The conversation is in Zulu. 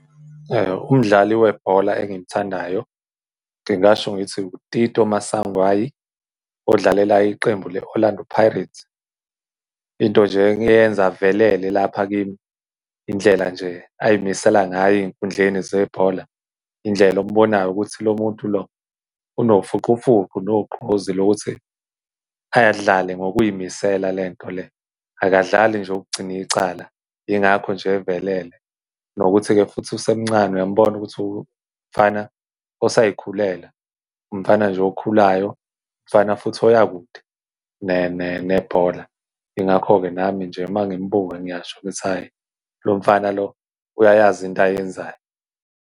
Umdlali webhola engimthandayo, ngingasho ngithi uTito Maswanganyi, odlalela iqembu leOrlando Pirates. Into nje engiyenza avelele lapha kimi indlela nje ay'misela ngayo ey'nkhundleni zebhola. Indlela okubonayo ukuthi lo muntu lo unofuqufuqu nogqozi lokuthi ay'dlale ngokuy'misela lento le, akadlali nje ukugcina icala. Yingakho nje evelele, nokuthi-ke futhi usemncane, uyamubona ukuthi umfana osay'khulela, umfana nje okhulayo, umfana futhi oyakude nebhola. Yingakho-ke nami nje, uma ngimbuka ngiyasho ukuthi hhayi lo mfana lo uyayazi into ayenzayo.